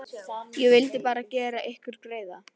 Ég vildi bara gera ykkur greiða.